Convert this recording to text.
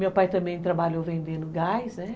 Meu pai também trabalhou vendendo gás, né?